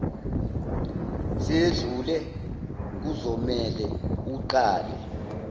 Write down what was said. seyedlule kuzomele uqale